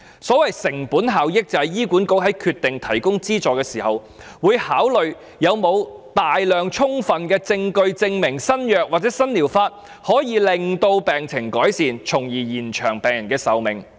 所謂成本效益，就是醫管局在決定提供資助時，會考慮是否有大量充分的證據證明新藥物或新療法可以改善病情，從而延長病人的壽命。